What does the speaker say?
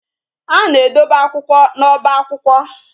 A na-edobe akwụkwọ na oba akwụkwọ